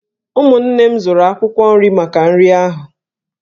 Ụmụnne m zụrụ akwụkwọ nri maka nri ahu.